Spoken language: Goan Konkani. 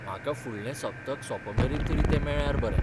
म्हाका फुडलें सप्तक सोंपमेरेन तरी तें मेळ्ळ्यार बरें.